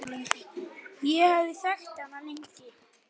Ég hafði þekkt hana lengi.